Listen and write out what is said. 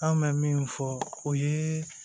An bɛ min fɔ o ye